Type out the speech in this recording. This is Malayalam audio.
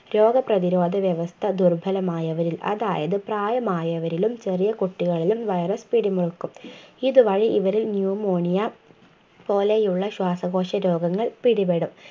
രോഗപ്രതിരോധവ്യവസ്ഥ ദുർബലമായവരിൽ അതായത് പ്രായമായവരിലും ചെറിയ കുട്ടികളിലും virus പിടിമുറുക്കും ഇതുവഴി ഇവരിൽ Pneumonia പോലെയുള്ള ശ്വാസകോശ രോഗങ്ങൾ പിടിപെടും